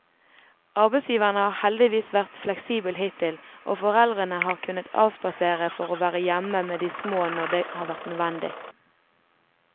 Arbeidsgiveren har heldigvis vært fleksibel hittil, og foreldrene har kunnet avspasere for å være hjemme med de små når det har vært nødvendig.